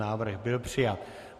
Návrh byl přijat.